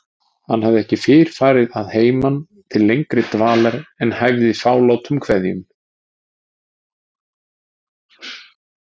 Hann hafði ekki fyrr farið að heiman til lengri dvalar en hæfði fálátum kveðjum.